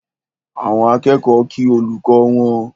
Àwọn akẹ́kọ̀ọ́ kí olùkọ́ wọn